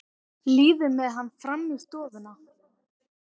Líður með hann fram í stofuna.